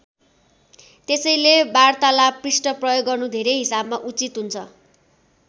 त्यसैले वारतालाप पृष्ठ प्रयोग गर्नु धेरै हिसाबमा उचित हुन्छ।